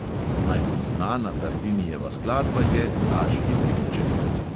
Najbolj znana tartinijeva skladba je vražji trilček.